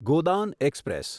Godan express